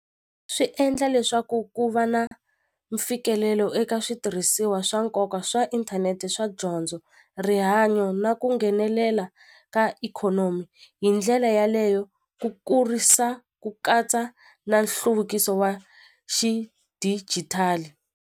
Swi endla leswaku ku va na mfikelelo eka switirhisiwa swa nkoka swa inthanete swa dyondzo rihanyo na ku nghenelela ka ikhonomi hi ndlela yaleyo ku kurisa ku katsa na nhluvukiso wa xidigitali.